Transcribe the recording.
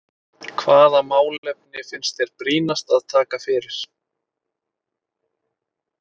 Hvaða málefni finnst þér brýnast að taka fyrir?